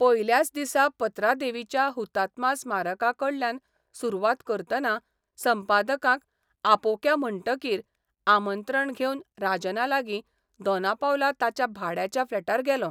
पयल्याच दिसा पत्रादेवीच्या हुतात्मा स्मारकाकडल्यान सुरवात करतना संपादकांक आपोवया म्हणटकीर आमंत्रण घेवन राजनालागीं दोनापावला ताच्या भाड्याच्या फ्लॅटार गेलों.